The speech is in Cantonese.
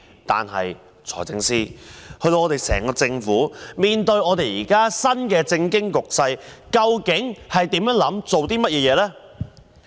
但是，財政司司長，面對新的政經局勢，究竟整個政府有何想法及做法？